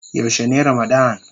Yaushe ne ramadann.?